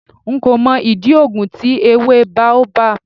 Nko mo idi oogun ti ewe Baobab